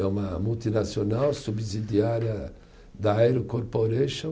É uma multinacional subsidiária da Aero Corporation